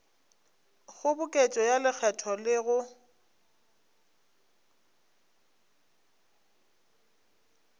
kgoboketšo ya lekgetho le go